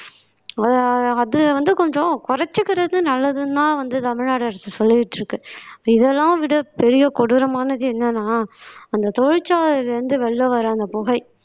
அத அது வந்து கொஞ்சம் குறைச்சுக்கறது நல்லதுன்னுதான் வந்து தமிழ்நாடு அரசு சொல்லிட்டிருக்கு இதெல்லாம் விட பெரிய கொடூரமானது என்னன்னா அந்த தொழிற்சாலையில இருந்து வெளியில வர அந்த புகை